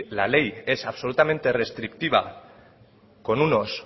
la ley es absolutamente restrictiva con unos